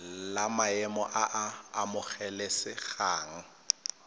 la maemo a a amogelesegang